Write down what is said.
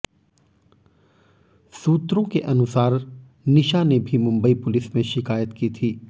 सूत्रों के अनुसार ने निशा ने भी मुंबई पुलिस में शिकायत की थी